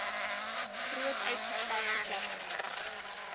groot uitgestrekte platteland